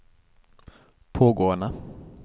pågående